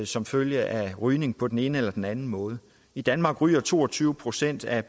som følge af rygning på den ene eller den anden måde i danmark ryger to og tyve procent af